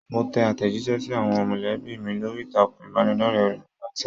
Mo tẹ àtẹjísẹ́ sí àwọn molẹ̀bí mi lórí ìtàkùn ìbánidọ̀rẹ̀ Whatsapp.